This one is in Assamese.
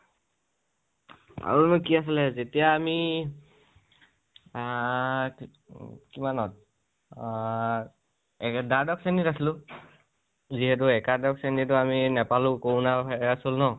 আৰু বা কি আছিলে । যেতিয়া আমি অ অ কিমান ত অ দ্বাদশ শ্ৰণীত আছিলো, যিহেতু একাদশ শ্ৰণী টো আমি নাপালো corona virus হ'ল ন